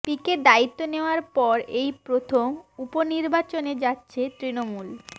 পিকে দায়িত্ব নেওয়ার পর এই প্রথম উপনির্বাচনে যাচ্ছে তৃণমূল